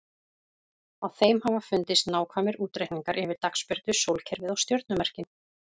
Á þeim hafa fundist nákvæmir útreikningar yfir dagsbirtu, sólkerfið og stjörnumerkin.